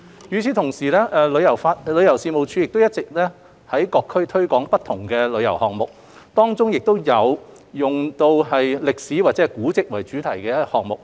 與此同時，旅遊事務署一直有在各區推廣不同的旅遊項目，當中有以歷史或古蹟為主題的項目。